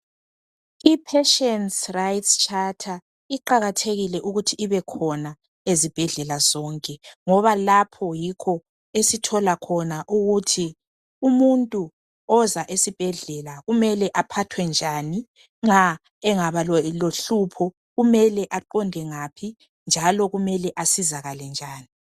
i patience rights charter iqakathekile ukuthi ibe khona ezibhedlela zonke ngoba lapho yikho esithola khona ukuthi umuntu oza esibhedlela kumele aphathwe njani nxa engaba lohlupho kumele aqonde ngaphi njalo kumele asizakale njani